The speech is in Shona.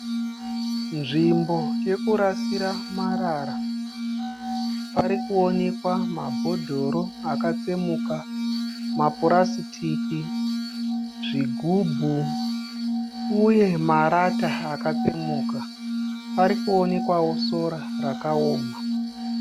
Nzvimbo yekurasira marara. Parikuwonekwa mabhodhoro akatsemuka, mapurasitiki, zvigubhu uye marata akatsemuka. Parikuwonekwawo sora rakaoma.